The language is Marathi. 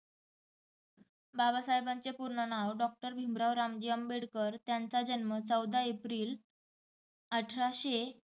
बाबासाहेबांचे पूर्ण नाव doctor भिमराव रामजी आंबेडकर. त्यांचा जन्म चौदा एप्रिल अठराशे